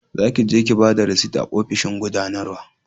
za ki je ki bada risit a ofishin gudanarwa